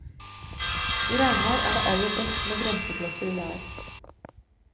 I regnvær er det aller best med bremseklosser i lær.